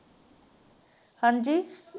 ਹਾਜ਼ੀ।